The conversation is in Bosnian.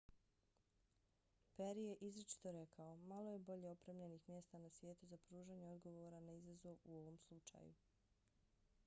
peri je izričito rekao: malo je bolje opremljenih mjesta na svijetu za pružanje odgovora na izazov u ovom slučaju.